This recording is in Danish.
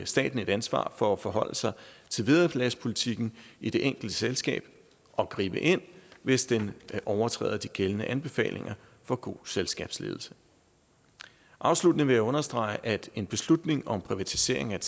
staten et ansvar for at forholde sig til vederlagspolitikken i det enkelte selskab og gribe ind hvis den overtræder de gældende anbefalinger for god selskabsledelse afsluttende vil jeg understrege at en beslutning om privatisering af